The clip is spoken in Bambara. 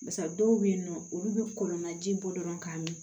Barisa dɔw bɛ yen nɔ olu bɛ kɔlɔnna ji bɔ dɔrɔn k'a min